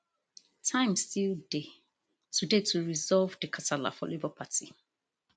time still dey to dey to resolve di kasala for labour party